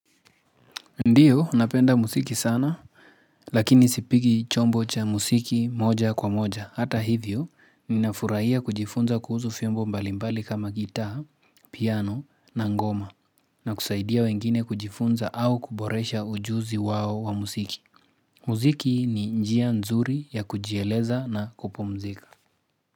Ndiyo, napenda musiki sana, lakini sipigi chombo cha musiki moja kwa moja. Hata hivyo, ninafuraia kujifunza kuhuzu fimbo mbalimbali kama gitaa, piano na ngoma na kusaidia wengine kujifunza au kuboresha ujuzi wao wa musiki. Muziki ni njia nzuri ya kujieleza na kupumzika.